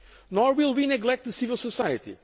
Nor will we neglect civil society.